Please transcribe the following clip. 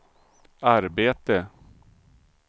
arbete